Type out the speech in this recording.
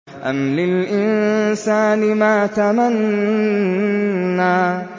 أَمْ لِلْإِنسَانِ مَا تَمَنَّىٰ